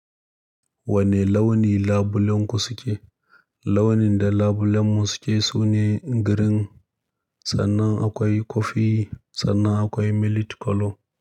Wane launi labulenku suke? Launin da labulenmu suke sune green, sannan akwai kofi, sannan akwai millet color.